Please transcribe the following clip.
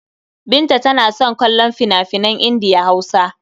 Binta tana son kallon fina-finan Indiya-Hausa.